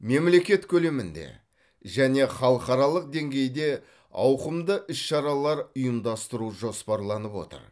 мемлекет көлемінде және халықаралық деңгейде ауқымды іс шаралар ұйымдастыру жоспарланып отыр